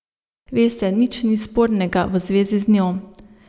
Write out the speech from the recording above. Veste, nič ni spornega v zvezi z njo.